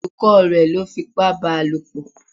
Olùkọ́ rẹ̀ lọ́ fipá báa lòpọ̀